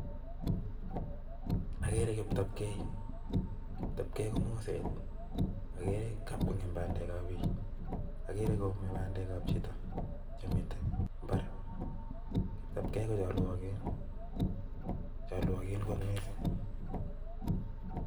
Okere kiptopgee, kiptopgee komoset okere kap kongem pandek ab bik. Okere koome pandek ab chito chemiten mbar, kiptopgee ko choluokin, choluokin kot missing.